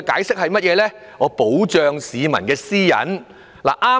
是為了保障市民私隱。